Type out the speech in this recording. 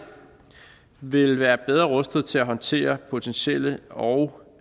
vil være bedre rustet til at håndtere potentielle og